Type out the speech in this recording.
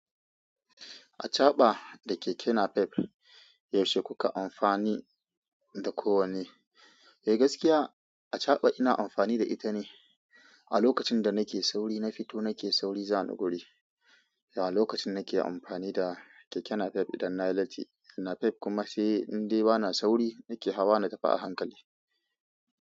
Acaɓa da Keke napep yaushe kukayi amfani da ko wanne. Eh gaskiya ina amfani da ita ne, a lokacin dana fito nake sauri zani guri a lokacin nake amfani da keke napep idan na yi latti napep kuma sai in dai ba na sauri nake hawa na tafi a hankali.